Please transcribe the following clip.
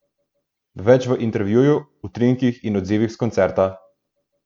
Več v intervjuju, utrinkih in odzivih s koncerta!